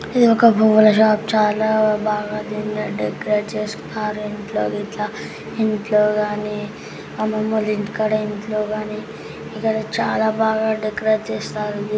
ఇది ఒక పువ్వుల షాపు చాలా బాగా దీనిలో డెకరేట్ చేసినారు ఇంట్లో గిట్ట ఇంట్లో కాని అమ్మమ్మ వాళ్ల ఇంటికాడ ఇంట్లో కాని ఇక్కడ చాలా బాగా డెకరేట్ చేస్తారు.